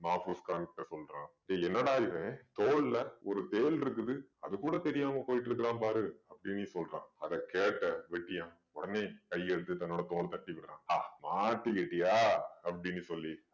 மாஃபூஸ் கான் கிட்ட சொல்றான் டேய் என்னடா இவன் தோள்ல ஒரு தேள் இருக்குது அது கூட தெரியாம போயிட்டிருக்கான் பாரு அப்படீன்னு சொல்றான். அதை கேட்ட வெட்டியான் உடனே கையெடுத்து தன்னோட தோள தட்டி விடறான். ஆ மாட்டிக்கிட்டியா அப்படீன்னு சொல்லி